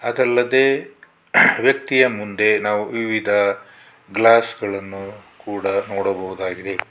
ಅದಲ್ಲದೆ ವ್ಯಕ್ತಿಯ ಮುಂದೆ ನಾವು ವಿವಿಧ ಗ್ಲಾಸ್ ಗಳನ್ನು ಕೂಡ ನೋಡಬಹುದಾಗಿದೆ.